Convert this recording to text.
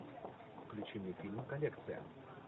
включи мне фильм коллекция